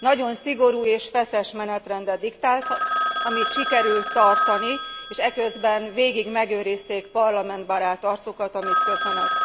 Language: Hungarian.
Nagyon szigorú és feszes menetrendet diktált, amit sikerül tartani, és eközben végig megőrizték parlamentbarát arcukat, amit köszönök.